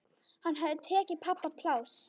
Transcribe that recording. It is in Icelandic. Hann hafði tekið pabba pláss.